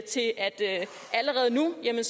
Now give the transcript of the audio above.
det